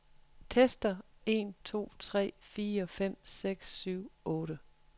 Tester en to tre fire fem seks syv otte.